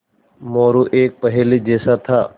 मोरू एक पहेली जैसा था